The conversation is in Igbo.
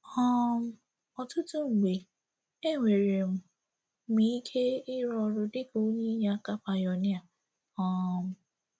um Ọtụtụ mgbe, e nwere m m ike ịrụ ọrụ dịka onye inyeaka pioneer um